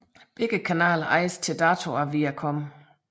Begge kanaler ejes til dato af Viacom